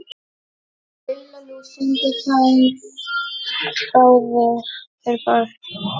Lilla lús! sungu þeir báðir.